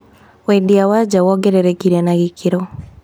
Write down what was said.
Wendia wa nja wongererekire na gĩkĩro.